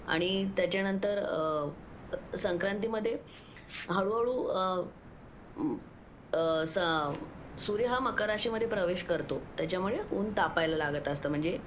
आणि त्याच्यानंतर संक्रांति मध्ये हळूहळू सूर्य मकर राशीमध्ये प्रवेश करतो त्याच्यामुळे ऊन तापायला लागत असतं म्हणजे